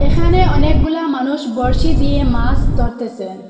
এখানে অনেকগুলা মানুষ বর্শি দিয়ে মাস ধরতেসেন ।